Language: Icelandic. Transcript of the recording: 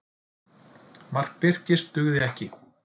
Mark Birkis dugði ekki